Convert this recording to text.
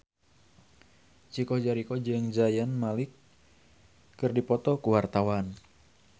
Chico Jericho jeung Zayn Malik keur dipoto ku wartawan